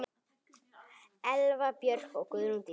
Elva Björk og Guðrún Dís.